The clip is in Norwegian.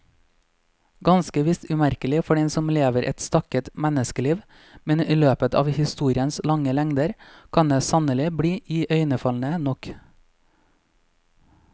Ganske visst umerkelig for den som lever et stakket menneskeliv, men i løpet av historiens lange lengder kan det sannelig bli iøynefallende nok.